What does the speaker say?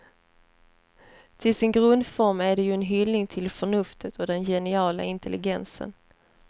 Till sin grundform är den ju en hyllning till förnuftet och den geniala intelligensen.